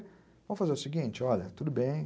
Vamos fazer o seguinte, olha, tudo bem.